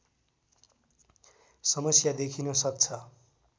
समस्या देखिन सक्छ